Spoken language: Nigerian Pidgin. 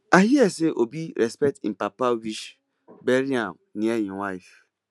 i hear say obi respect im papa wish bury am near im wife